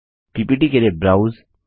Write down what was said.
PPT के लिए browse